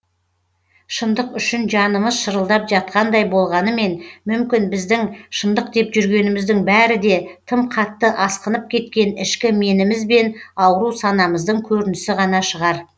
шындық үшін жанымыз шырылдап жатқандай болғанымен мүмкін біздің шындық деп жүргеніміздің бәрі де тым қатты асқынып кеткен ішкі меніміз бен ауру санамыздың көрінісі ғана шығар